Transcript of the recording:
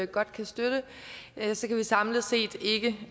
godt kan støtte samlet set ikke